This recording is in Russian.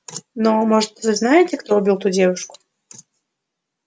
но может вы знаете кто убил ту девушку